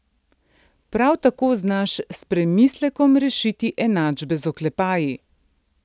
Prav tako znaš s premislekom rešiti enačbe z oklepaji.